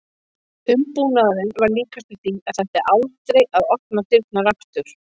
Umbúnaðurinn var líkastur því að það ætti aldrei að opna dyrnar aftur.